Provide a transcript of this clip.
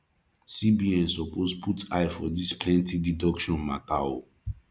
cbn suppose put eye for dis plenty deduction mata o